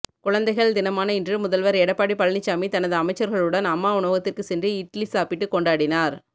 குழந்தைகள் தினமான இன்று முதல்வர்எடப்பாடி பழனிசாமி தனது அமைச்சர்களுடன் அம்மா உணவகத்திற்கு சென்று இட்லி சாப்பிட்டு கொண்டாடினார்